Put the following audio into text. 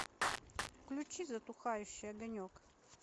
включи затухающий огонек